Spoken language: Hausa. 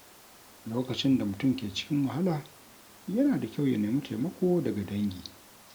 Lokacin da mutum ke cikin wahala, yana da kyau ya nemi taimako daga dangi.